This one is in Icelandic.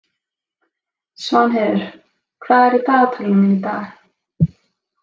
Svanheiður, hvað er í dagatalinu mínu í dag?